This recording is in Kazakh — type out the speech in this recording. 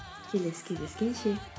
келесі кездескенше